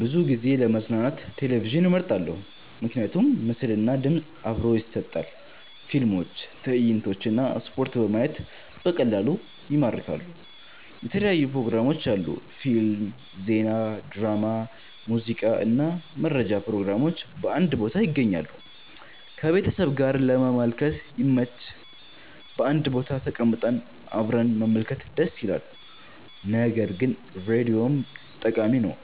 ብዙ ጊዜ ለመዝናኛ ቴሌቪዥንን እመርጣለሁ። ምክንያቶች ምስል እና ድምፅ አብሮ ይሰጣል – ፊልሞች፣ ትዕይንቶች እና ስፖርት በማየት በቀላሉ ይማርካሉ። የተለያዩ ፕሮግራሞች አሉ – ፊልም፣ ዜና፣ ድራማ፣ ሙዚቃ እና መረጃ ፕሮግራሞች በአንድ ቦታ ይገኛሉ። ከቤተሰብ ጋር ለመመልከት ይመች – በአንድ ቦታ ተቀምጠን አብረን መመልከት ደስ ይላል። ነገር ግን ራዲዮም ጠቃሚ ነው፤